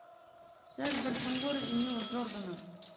секс в большом городе нила джордана